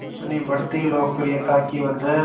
अपनी बढ़ती लोकप्रियता की वजह